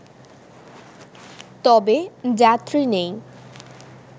তবে যাত্রী নেই